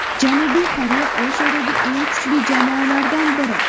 Janubiy Koreya Osiyodagi eng kuchli jamoalardan biri.